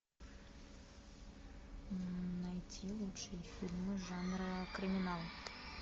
найти лучшие фильмы жанра криминал